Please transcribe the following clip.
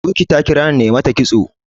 buky ta kirawo Mai mata kitso